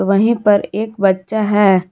वहीं पर एक बच्चा है।